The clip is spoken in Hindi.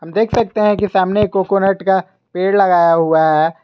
देख सकते हैं कि सामने कोकोनट का पेड़ लगाया हुआ है।